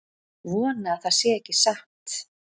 Vona að það sé ekki satt